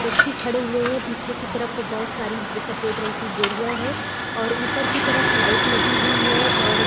व्यक्ति खड़े हुए है पीछे की तरफ बहुत सारी सफेद रंग की बोरियां है और ऊपर की तरफ लाइट लगी हुई है और --